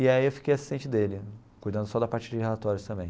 E aí eu fiquei assistente dele, cuidando só da parte de relatórios também.